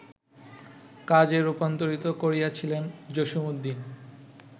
কাজে রূপান্তরিত করিয়াছিলেন জসীমউদ্দীন